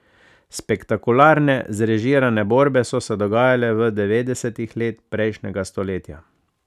Spektakularne zrežirane borbe so se dogajale v devetdesetih let prejšnjega stoletja.